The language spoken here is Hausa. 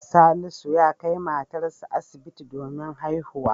Salisu ya kai matarsa asibiti domin haihuwa.